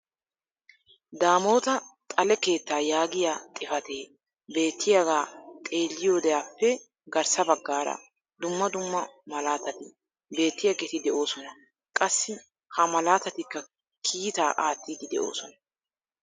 Damotta xale keettaa yaagiyaa xifatee beettiyaagaa xeelliyoodeappe garssa baggaara dumma dumma malaatati beetiyaageti de'oosona. qassi ha malaatatikka kiitaaa aattiidi de'oosona.